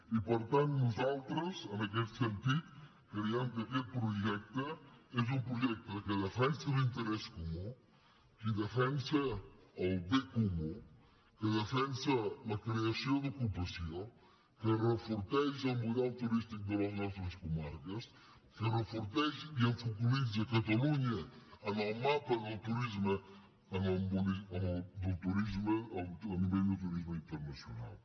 i per tant nosaltres en aquest sentit creiem que aquest projecte és un projecte que defensa l’interès comú que defensa el bé comú que defensa la creació d’ocupació que enforteix el model turístic de les nostres comarques que enforteix i focalitza catalunya en el mapa del turisme a nivell del turisme internacional